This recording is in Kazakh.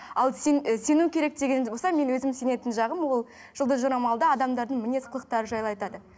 ал сен ы сену керек деген болса мен өзім сенетін жағым ол жұлдыз жорамалда адамдардың мінез құлықтары жайлы айтады